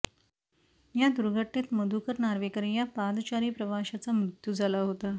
या दुर्घटनेत मधुकर नार्वेकर या पादचारी प्रवाशाचा मृत्यू झाला होता